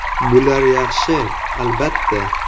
Bular yaxshi, albatta.